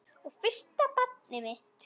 Og fyrsta barnið mitt.